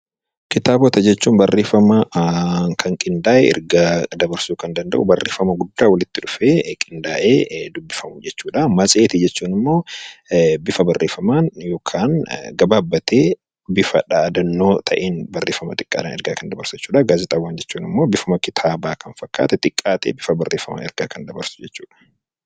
Kitaaba jechuun bifa barreeffamaatiin kan qindaa'ee ergaa barreeffamaatiin walitti dhufee qindaa'ee dubbifamu jechuudha. Matseetii jechuun immoo bifa barreeffamaan yookaan gabaabbatee barreeffama xiqqoon ergaa kan dabarsu jechuudhaa. Gaazexaawwan jechuun immoo bifa kitaabaa kan fakkaate barreeffama gabaabaadhaan kan kaa'amedha